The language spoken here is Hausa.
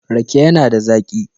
Rake yana da zaƙi.